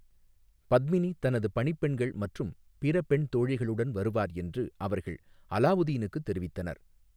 பத்மினி தனது பணிப்பெண்கள் மற்றும் பிற பெண் தோழிகளுடன் வருவார் என்று அவர்கள் அலாவுதீனுக்கு தெரிவித்தனர்.